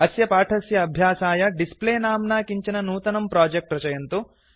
अस्य पाठस्य अभ्यासाय डिस्प्ले नाम्ना किञ्चन नूतनं प्रोजेक्ट् रचयन्तु